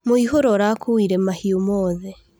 Mũihũro ũrakuire mahiũ mothe.